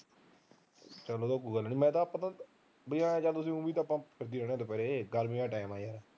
ਚੱਲ ਉਹ ਤਾਂ ਕੋਈ ਗੱਲ ਨੀ ਮੈਂ ਤਾਂ ਵੀ ਐ ਤਾਂ ਤੁਸੀਂ ਲੱਗੇ ਰਹਿੰਦੇ ਦੁਪਿਹਰੇ ਗਰਮੀ ਦਾ ਟਾਈਮ